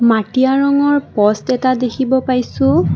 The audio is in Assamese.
মাটিয়া ৰঙৰ পষ্ট এটা দেখিব পাইছোঁ।